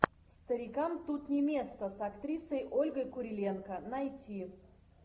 старикам тут не место с актрисой ольгой куриленко найти